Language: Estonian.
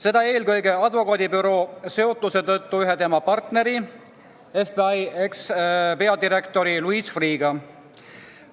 Seda eelkõige advokaadibüroo seotuse tõttu ühe tema partneri, FBI endise peadirektori Louis Freeh'ga.